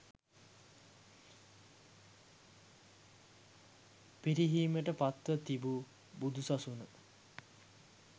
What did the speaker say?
පිරිහීමට පත්ව තිබූ බුදු සසුන